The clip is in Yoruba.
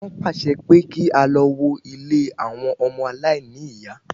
Wọ́n pàṣẹ pé kí a lọ wó ilé àwọn ọmọ aláìní ìyá